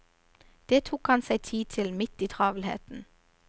Det tok han seg tid til midt i travelheten.